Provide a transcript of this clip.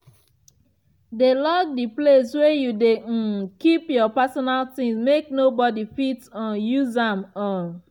dey lock di place wey you dey um keep your personal ting make nobodi fit um use am um